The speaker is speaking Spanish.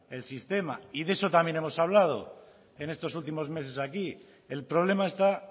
el sistema y de eso también hemos hablado en estos últimos meses aquí el problema está